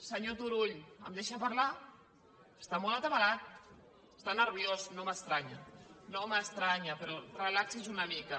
senyor turull em deixa parlar està molt atabalat està nerviós no m’estranya no m’estranya però relaxi’s una mica